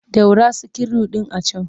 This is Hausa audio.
Ɗaura sikiru ɗin a can!